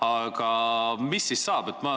Aga mis siis saab?